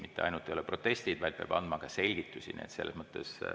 Ei ole mitte ainult protestid, vaid ta peab andma ka selgitusi.